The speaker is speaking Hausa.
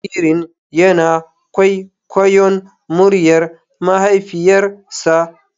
Jaririn yana kwaikwayon muryar mahaifiyarsa.